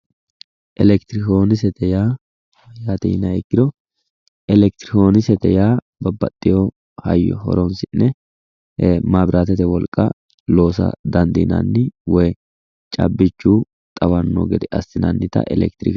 Elekitiroonikisete yaa mayaate yiniha ikkiro, elekitronikisete yaa hayyo horonsi'ne maabiraatete wolqa loosa dandinlinanni woyi caabbichu xawanno gede assiannita eekitirike...